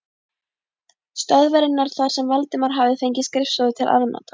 stöðvarinnar þar sem Valdimar hafði fengið skrifstofu til afnota.